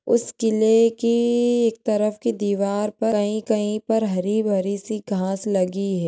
उस किल्ले की एक तरफ के दीवार पर कही-कही पर हरी-भरी सी घास लगी है।